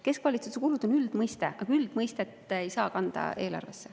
"Keskvalitsuse kulud" on üldmõiste, aga üldmõistet ei saa kanda eelarvesse.